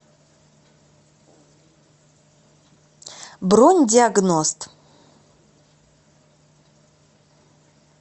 бронь диагност